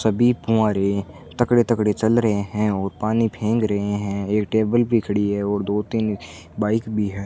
सभी तगड़े तगड़े चल रहे हैं और पानी फेंग़ रहे हैं एक टेबल भी खड़ी है और दो तीन बाइक भी है।